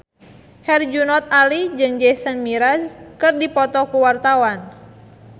Herjunot Ali jeung Jason Mraz keur dipoto ku wartawan